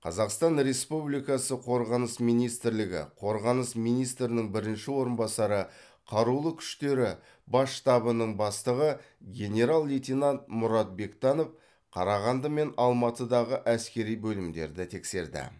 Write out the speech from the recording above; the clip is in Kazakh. қазақстан республикасы қорғаныс министрлігі қорғаныс министрінің бірінші орынбасары қарулы күштері бас штабының бастығы генерал лейтенант мұрат бектанов қарағанды мен алматыдағы әскери бөлімдерді тексерді